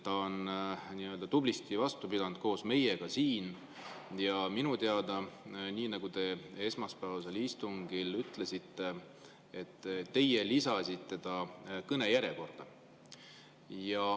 Ta on tublisti vastu pidanud siin koos meiega ja minu teada, nii nagu te esmaspäevasel istungil ütlesite, teie lisasite ta kõnejärjekorda.